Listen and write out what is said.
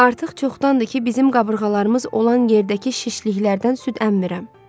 Artıq çoxdan deyil ki, bizim qabırğalarımız olan yerdəki şişliklərdən süd əmmirəm.